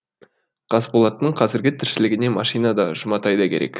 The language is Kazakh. қасболаттың қазіргі тіршілігіне машина да жұматай да керек